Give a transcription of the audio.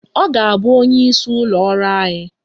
Ọ ga-abụ onyeisi ụlọ ọrụ anyị